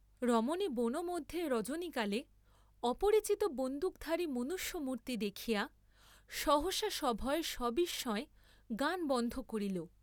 রমণী বনমধ্যে রজনীকালে অপরিচিত বন্দুকধারী মনুষ্য মূর্ত্তি দেখিয়া সহসা সভয়ে সবিস্ময়ে গান বন্ধ করিল।